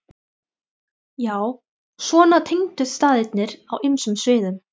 Já, svona tengdust staðirnir á ýmsum sviðum.